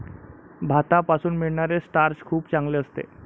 भाता पासून मिळणारे स्टार्च खूप चांगले असते.